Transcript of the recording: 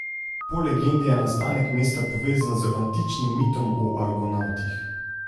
Po legendi je nastanek mesta povezan z antičnim mitom o Argonavtih.